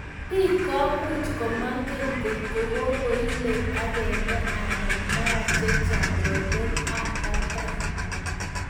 Piik ko much komengen ngotko kikoile akenge anan mara chechang' rotet ap patet